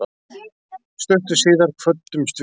Stuttu síðar kvöddumst við.